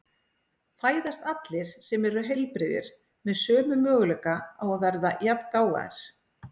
Fæðast allir sem eru heilbrigðir með sömu möguleika á að verða jafngáfaðir?